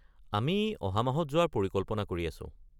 আমি অহা মাহত যোৱাৰ পৰিকল্পনা কৰি আছো।